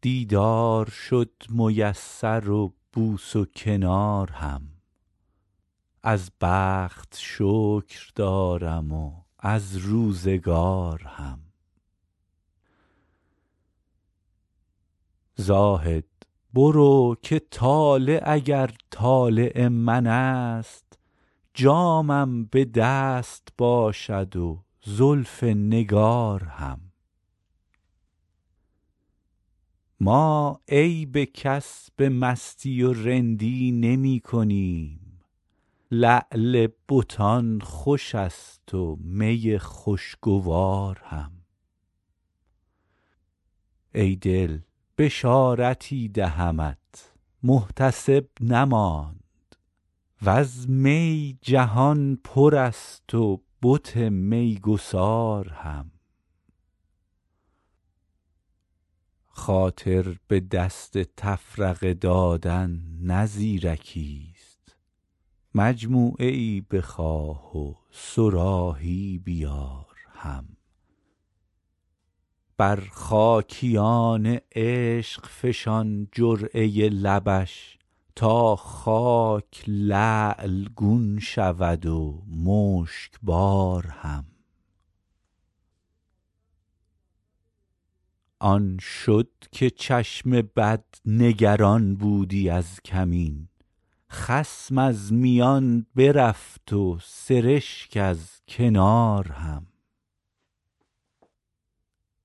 دیدار شد میسر و بوس و کنار هم از بخت شکر دارم و از روزگار هم زاهد برو که طالع اگر طالع من است جامم به دست باشد و زلف نگار هم ما عیب کس به مستی و رندی نمی کنیم لعل بتان خوش است و می خوشگوار هم ای دل بشارتی دهمت محتسب نماند و از می جهان پر است و بت میگسار هم خاطر به دست تفرقه دادن نه زیرکیست مجموعه ای بخواه و صراحی بیار هم بر خاکیان عشق فشان جرعه لبش تا خاک لعل گون شود و مشکبار هم آن شد که چشم بد نگران بودی از کمین خصم از میان برفت و سرشک از کنار هم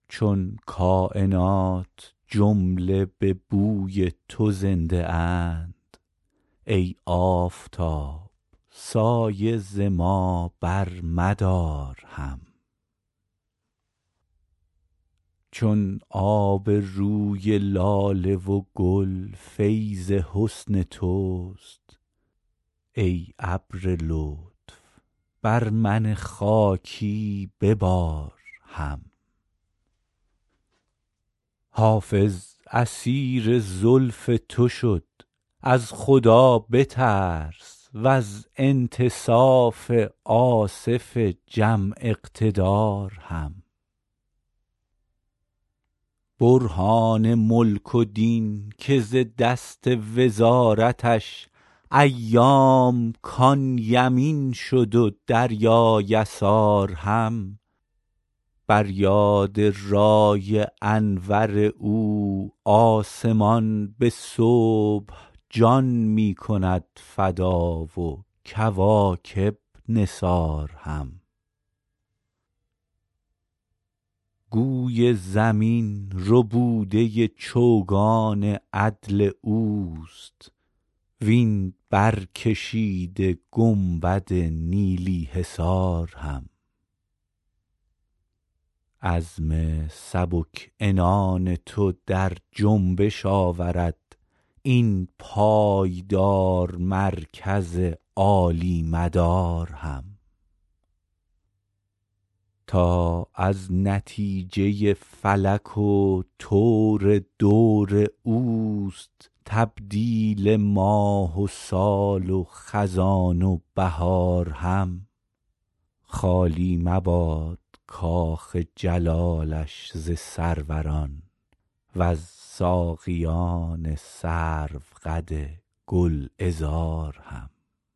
چون کاینات جمله به بوی تو زنده اند ای آفتاب سایه ز ما برمدار هم چون آب روی لاله و گل فیض حسن توست ای ابر لطف بر من خاکی ببار هم حافظ اسیر زلف تو شد از خدا بترس و از انتصاف آصف جم اقتدار هم برهان ملک و دین که ز دست وزارتش ایام کان یمین شد و دریا یسار هم بر یاد رای انور او آسمان به صبح جان می کند فدا و کواکب نثار هم گوی زمین ربوده چوگان عدل اوست وین برکشیده گنبد نیلی حصار هم عزم سبک عنان تو در جنبش آورد این پایدار مرکز عالی مدار هم تا از نتیجه فلک و طور دور اوست تبدیل ماه و سال و خزان و بهار هم خالی مباد کاخ جلالش ز سروران و از ساقیان سروقد گلعذار هم